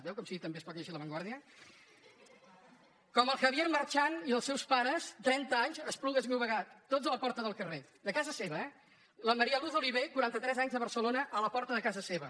veu com sí que també es pot lle·gir la vanguardia i els seus pares trenta anys a esplugues de llobre·gat tots a la porta del carrer de casa seva eh la ma·ría luz oliver quaranta·tres anys de barcelona a la porta de casa seva